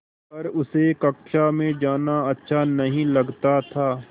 पर उसे कक्षा में जाना अच्छा नहीं लगता था